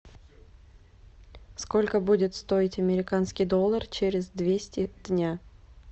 сколько будет стоить американский доллар через двести дня